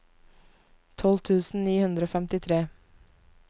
tolv tusen ni hundre og femtifire